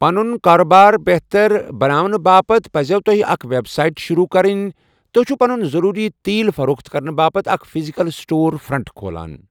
پنُن کاربار بہتر بناونہٕ باپتھ پَزٮ۪و تۄہہِ اکھ ویب سائٹ شروٗع کرٕنۍ تُہۍ چھِو پنُن ضروٗری تیل فروخت کرنہٕ باپتھ اکھ فزیکل سٹور فرنٹ کھولان۔